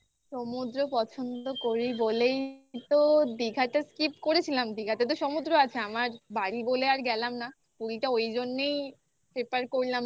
সমুদ্র পছন্দ করি বলেই তো দিঘাটা skip করেছিলাম দিঘাতে তো সমুদ্র আছে. আমার বাড়ি বলে আর গেলাম না. পুরীটা ওই য ওইটা ওই জন্যেই prefer করলাম যে